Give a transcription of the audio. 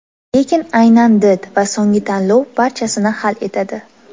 Lekin aynan did va so‘nggi tanlov barchasini hal etadi.